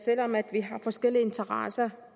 vi har forskellige interesser